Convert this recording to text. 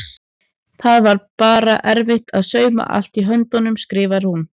Það var bara erfitt að sauma allt í höndunum skrifar hún.